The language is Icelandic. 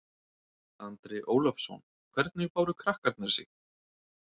Andri Ólafsson: Hvernig báru krakkarnir sig?